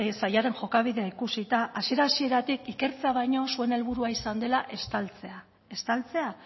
sailaren jokabidea ikusita hasiera hasieratik ikertzea baino zuen helburua izan dela estaltzea